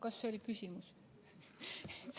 Kas see oli küsimus?